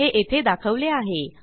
हे येथे दाखवले आहे